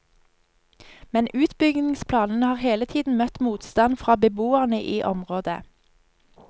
Men utbyggingsplanene har hele tiden møtt motstand fra beboerne i området.